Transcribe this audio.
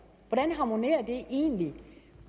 hvordan harmonerer det egentlig